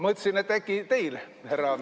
Mõtlesin, et äkki teil, härra.